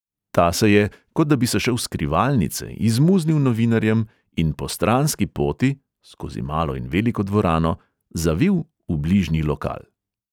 Ta se je, kot da bi se šel skrivalnice, izmuznil novinarjem in po stranski poti (skozi malo in veliko dvorano) zavil v bližnji lokal.